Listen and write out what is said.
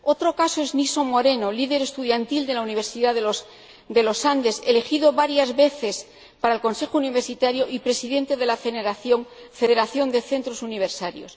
Otro caso es el de Nixon Moreno, líder estudiantil de la Universidad de los Andes, elegido varias veces para el Consejo Universitario y Presidente de la Federación de Centros Universitarios.